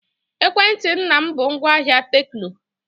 Ekwentị nna m bụ ngwaahịa Tekno.